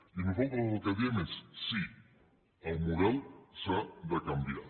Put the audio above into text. i nosaltres el que diem és sí el model s’ha de canviar